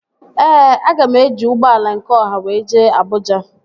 Ee, aga m eji ụgbọala nke ọha wee jee Abụja